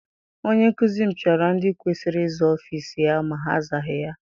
Onye nkụzi m piara ndị kwesịrị ịza ọfịịsi ya ma ha azaghị ya.